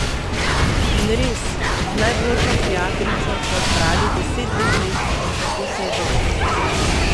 In res, z najboljšo prijateljico sva zbrali deset deklet in tako se je začelo.